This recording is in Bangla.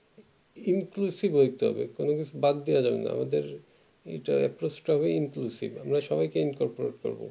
inclusive হইতে হবে কোনো কিছু বাদ দেয়া যাবেনা আমাদের একটা সবে inclusive এ আমরা সবাই কে incorporate করবো